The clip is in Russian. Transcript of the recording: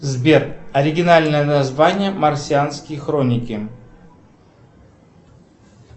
сбер оригинальное название марсианские хроники